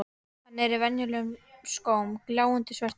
Hann er í venjulegum skóm, gljáandi svörtum.